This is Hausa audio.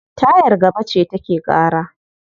Tayar gaba ce take ƙara.